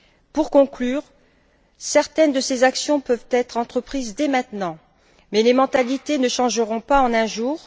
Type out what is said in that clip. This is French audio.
Pour conclure, certaines de ces actions peuvent être entreprises dès maintenant mais les mentalités ne changeront pas en un jour.